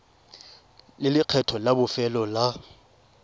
le lekgetho la bofelo la